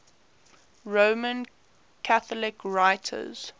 roman catholic writers